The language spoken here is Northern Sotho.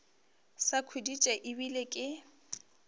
sa khuditše e bile ke